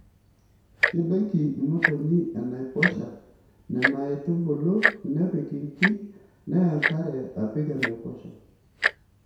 kedoiki motonyi enaiposha nena aitubulu nepik inkik neya nkare apik enaiposha.